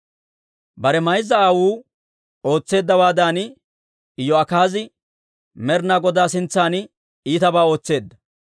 Bare mayza aawotuu ootseeddawaadan, Iyo'akaazi Med'ina Godaa sintsan iitabaa ootseedda.